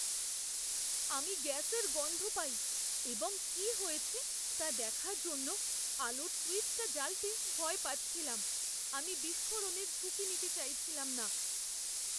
আমি গ্যাসের গন্ধ পাই এবং কি হয়েছে তা দেখার জন্য আলোর সুইচটা জ্বালতে ভয় পাচ্ছিলাম। আমি বিস্ফোরণের ঝুঁকি নিতে চাইছিলাম না।